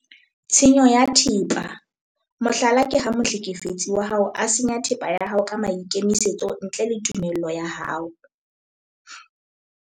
Tshenyo ya thepa- mohlala ke ha mohlekefetsi wa hao a senya thepa ya hao ka maikemisetso ntle le tumello ya hao.